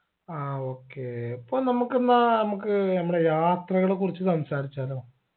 ആ okay പ്പോ നമ്മക്കെന്നാ മ്മക്ക് നമ്മടെ യാത്രകളെ കുറിച്ച് സംസാരിച്ചാലോ